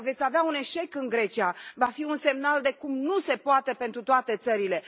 Dacă veți avea un eșec în Grecia va fi un semnal de cum nu se poate pentru toate țările.